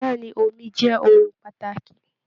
Bẹ̀ẹ́ni, omi jẹ ohùn pàtàkì.